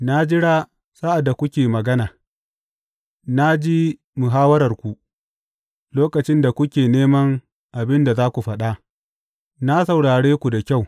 Na jira sa’ad da kuke magana, na ji muhawwararku lokacin da kuke neman abin da za ku faɗa, na saurare ku da kyau.